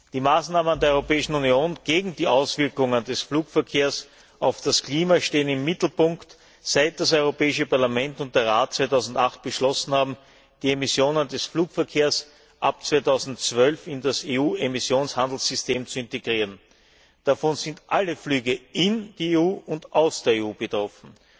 Die Maßnahmen der Europäischen Union gegen die Auswirkungen des Flugverkehrs auf das Klima stehen im Mittelpunkt, seit das Europäische Parlament und der Rat im Jahr 2008 beschlossen haben, die Emissionen des Flugverkehrs ab 2012 in das EU Emissionshandelssystem zu integrieren. Davon sind alle Flüge in die EU und aus der EU betroffen.